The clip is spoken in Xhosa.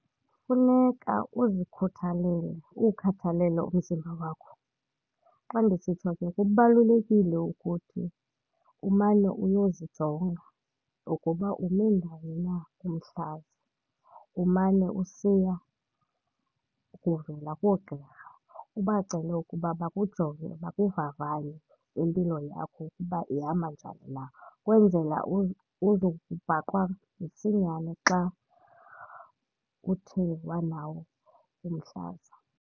Kufuneka uzikhuthalele uwukhathalele umzimba wakho. Xa ndisitsho ke kubalulekile ukuthi umane uyozijonga ukuba ume ndawoni na umhlaza, umane usiya kuvela koogqirha ubacele ukuba bakujonge, bakuvavanye impilo yakho ukuba ihamba njani na ukwenzela uzokubhaqwa msinyane xa uthe wanawo umhlaza.